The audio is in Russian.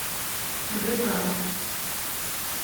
дк